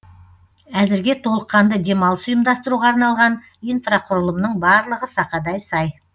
әзірге толыққанды демалыс ұйымдастыруға арналған инфрақұрылымның барлығы сақадай сай